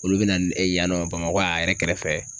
Olu bɛ na n yan nɔ Bamako a yɛrɛ kɛrɛfɛ